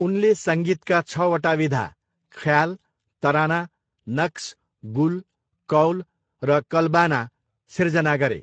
उनले सङ्गीतका छवटा विधा, ख्याल, तराना, नक्स, गुल, कौल र कल्बाना सिर्जना गरे।